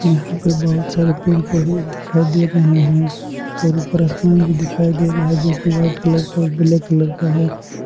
यहां पे बहुत सारे पेड़ पौधे भी दिखाई दे रहे हैं ऊपर आसमान भी दिखाई दे रहा है जो की वाइट कलर और ब्लैक कलर का है।